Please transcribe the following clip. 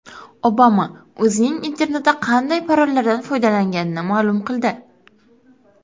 Obama o‘zining internetda qanday parollardan foydalanganini ma’lum qildi.